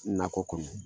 Nakɔ kɔnɔ